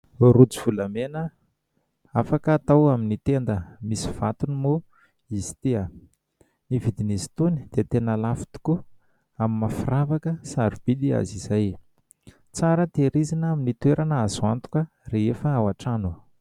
Rojo volamena afaka atao amin'ny tenda, misy vatony moa izy ity. Ny vidin'izy itony dia tena lafo tokoa amin'ny maha firavaka sarobidy azy, izay tsara tehirizina amin'ny toerana azo antoka rehefa ao an-trano.